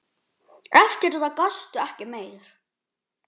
Eftir það gastu ekki meir.